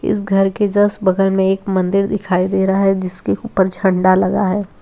इस घर के जस्ट बगल में एक मंदिर दिखाई दे रहा है जिसके ऊपर झंडा लगा है।